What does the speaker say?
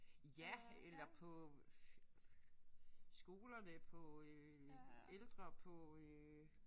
Ja eller på skolerne på øh ældre på øh